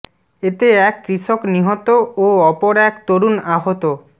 এতে এক কৃষক নিহত ও অপর এক তরুণ আহত